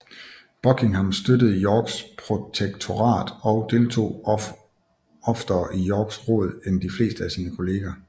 Buckingham støttede Yorks protektorat og deltog oftere i Yorks råd end de fleste af sine kolleger